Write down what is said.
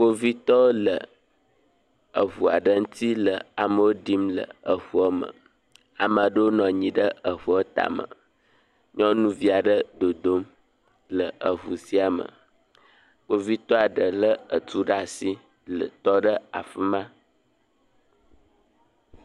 Kpovitɔwo le eŋu aɖe ŋuti le amewo ɖim le eŋuɔ me. Amewo nɔ anyi ɖe eŋuɔ etame, nyɔnuvi aɖe le dodom le eŋu sia me. Kpovitɔa ɖe lé etu asi le afi ma.